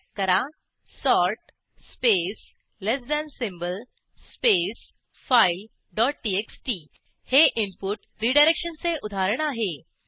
type करा sort space less than symbol space file dot TXT हे input रीडायरेक्शनचे उदाहरण आहे